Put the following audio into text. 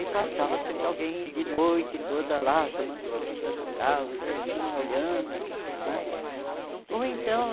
E passava sempre alguém de noite toda lá, tomando conta do carro, os vizinhos olhando né ou então